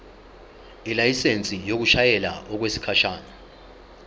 ilayisensi yokushayela okwesikhashana